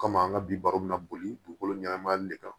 Komi an ka bi baabu bɛna boli dugukolo ɲɛnama de kan